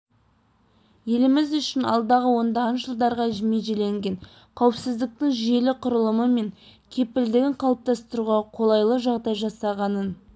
еліміз үшін алдағы ондаған жылдарға межеленген қауіпсіздіктің жүйелі құрылымы мен кепілдігін қалыптастыруға қолайлы жағдай жасағанын